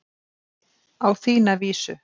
Á þína vísu.